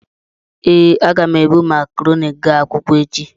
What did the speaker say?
Ee, aga m ebu makarọnị gaa akwụkwọ echi.